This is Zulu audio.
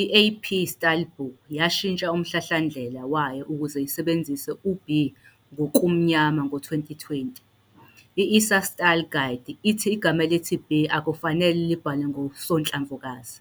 I-AP Stylebook yashintsha umhlahlandlela wayo ukuze isebenzise u-"b" ngokumnyama ngo-2020. I-ASA Style Guide ithi igama elithi "b" akufanele libhalwe ngosonhlamvukazi.